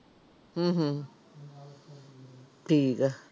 ਹਮ ਹਮ ਠੀਕ ਆ।